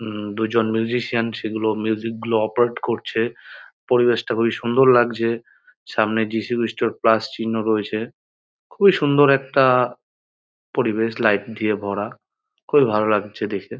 উমম দুজন মিউজিসিয়ান সেগুলো মিউজিক গুলো অপারেট করছে পরিবেশ্ টা খুবই সুন্দর লাগছে সামনে যীশু খ্রিষ্ট এর প্লাস চিহ্ন রয়েছে। খুবই সুন্দর একটা পরিবেশলাইট দিয়ে ভরা। খুবই ভালো লাগছে দেখে।